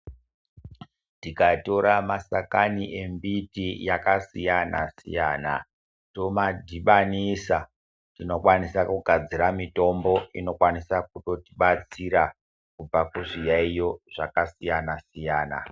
Tikatora mashakani embiti yakasiyana siyana tomadhibhanisa tinokwanisa kugadzira mitombo inokwanisa kutoti batsira kubva kuzviyaiyo zvakasiyana siyana .